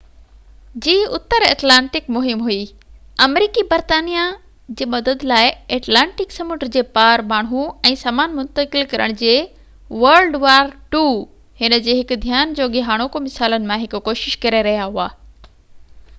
هن جي هڪ ڌيان جوڳي هاڻوڪي مثالن مان هڪ wwii جي اتر ايٽلانٽڪ مهم هئي آمريڪي برطانيا جي مدد لاءِ ايٽلانٽڪ سمنڊ جي پار ماڻهو ۽ سامان منتقل ڪرڻ جي ڪوشش ڪري رهيا هئا